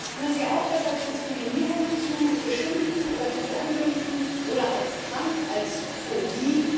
Hören Sie auf, das als Diskriminierung zu beschimpfen oder zu verunglimpfen oder als krank, als Phobie.